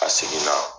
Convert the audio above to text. A seginna